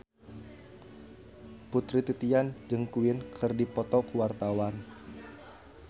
Putri Titian jeung Queen keur dipoto ku wartawan